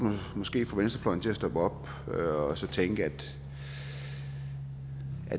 måske få venstrefløjen til at stoppe op og tænke at